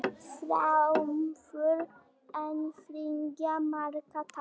Framför en þriggja marka tap